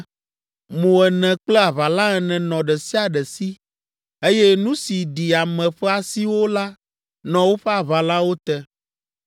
Mo ene kple aʋala ene nɔ ɖe sia ɖe si, eye nu si ɖi ame ƒe asiwo la nɔ woƒe aʋalawo te.